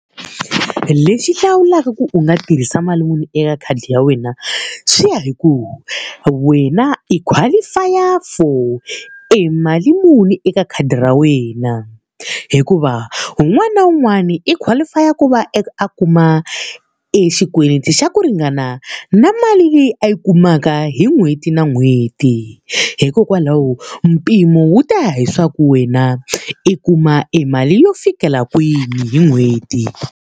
Lexi hlawulaka ku u nga tirhisa mali muni eka khadi ra wena, swi ya hi ku wena i qualify-a for e mali muni eka khadi ra wena. Hikuva un'wana na un'wana i qualify-a ku va a kuma e xikweleti xa ku ringana na mali leyi a yi kumaka hi n'hweti na n'hweti. Hikokwalaho mpimo wu ta ya hileswaku wena i kuma e mali yo fikela kwini hi n'hweti.